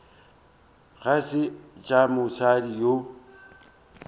ga se tša mosadi yo